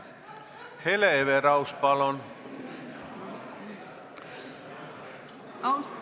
Hele Everaus, palun!